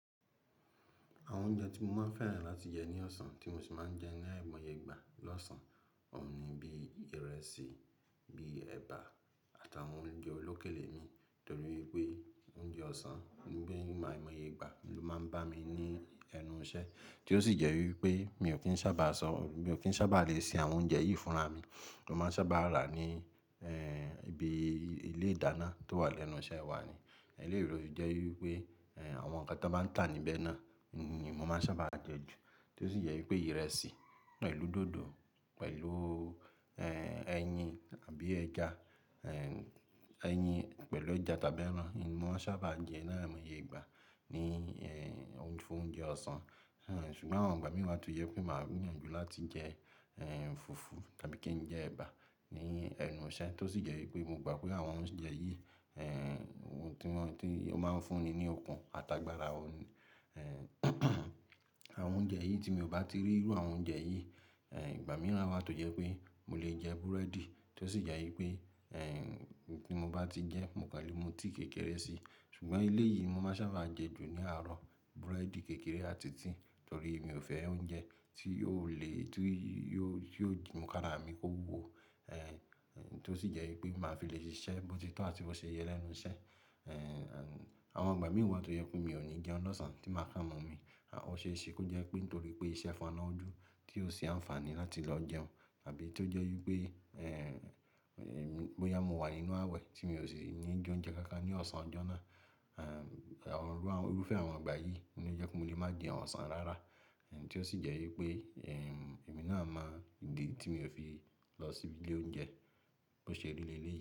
Àwọn oúnjẹ tí mo máa ń fẹ́ràn láti jẹ ní ọ̀sán tí mo sì máa ń jẹ ní aìmọye ìgbà lọ́sàn-án, òun ni bí ìrẹsì, bí ẹba àtàwọn oúnjẹ olókèlè mi. Nítorí pé oúnjẹ ọ̀sán bí aìmọye ìgbà ló máa ń bá mi ní ẹnu iṣẹ́ tí ó sì jẹ́ wípé mi ò fi sábà sọ, mi ò fi sábà lè ṣe àwọn oúnjẹ yìí fúnra mi tó máa sábà rà ní, ibi ilé ìdáná tó wà lẹ́nu iṣẹ́ wa ni. Eléyìí lo sfì jẹ́ wípé, ẹ́, àwọn ǹkan tó bá ń tà níbẹ̀ náà ni mo máa sábà jẹ ju, tí ó sì jẹ́ wípé ìrẹsì pẹ̀lú dòdò pẹ̀lú, ẹyin àbí ẹja, ẹyin pẹ̀lú ẹja tàbí ẹran ni mo sábà jẹ láàárín ìmọye ìgbà ní, ẹ́, fún oúnjẹ ọ̀sán. Ṣùgbọ́n àwọn ìgbà mìíràn tó jẹ́ pé màá ní ìyanju láti jẹ, fufu tàbí kí n jẹ ẹba ní ẹnu iṣẹ́ tó sì jẹ́ wípé mo gbà pé àwọn oúnjẹ yìí, tí wọ́n, tí ó máa ń fúnni ní okun àtàgbàra o. Àwọn oúnjẹ yìí tí mi ò bá ti rí irú àwọn oúnjẹ yìí, ìgbà mìíràn a máa tó jẹ́ pé mo lè jẹ búrẹ́dì tó sì jẹ́ wípé, ẹ́, tí mo bá ti jẹ mo kan lè mú tíì kékeré si. Ṣùgbọ́n eleyìí mo máa sábà jẹ ju ní àárọ̀, búrẹ́dì, kékeré àti tíì. Nítorí mi ò fẹ́ oúnjẹ tí yóò le, tí yóò, tí yóò di múkára mi kó wúwo, ẹ́, tí ó sì jẹ́ wípé màá fi lè ṣiṣẹ́ bó ti tó àti bó ṣe yẹ lẹ́nu iṣẹ́. Ẹ́, àwọn ìgbà mìíràn tó jẹ́ pé mi ò ní jẹun lọ́sàn-án tí màá ká mọ́ mi. Ọ̀ ṣe é ṣe kó jẹ́ pé nítorí pé iṣẹ́ fọ́nà ojú tí ó ṣe àǹfààní láti lọ jẹun àbí tó jẹ́ wípé, ẹ́, bóyá mo wà nínú àwẹ̀ tí mi ò sì ní jẹ oúnjẹ kankan ní ọ̀sán ọjọ́ náà. Ẹ̀, àwọn, irúfẹ́ àwọn ìgbà yìí ló jẹ́ pé mo lè má jẹ ọ̀sán rárá, ẹ́, tí ó sì jẹ́ wípé, ẹ́, èmi náà mọ ìdí tí mo fi lọ síbi ilé oúnjẹ bó ṣe rí lé ilé yìí.